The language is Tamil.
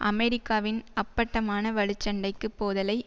அமெரிக்காவின் அப்பட்டமான வலுச்சண்டைக்குப் போதலை